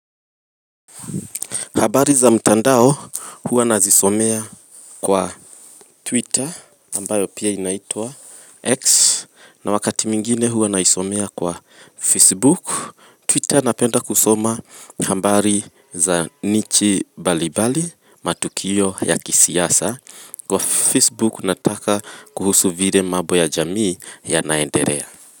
Habari za mtandao huwa nazisomea kwa Twitter ambayo pia inaitua X na wakati mingine huwa naisomea kwa Facebook. Twitter napenda kusoma ambari za Nichi Balibali matukio ya kisiyasa. Kwa Facebook nataka kuhusu vile mabo ya jamii yanaenderea.